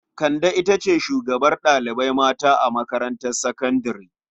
Kande ita ce shugabar ɗalibai mata a makarantar sakandare.